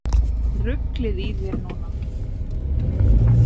Ruglið í þér núna!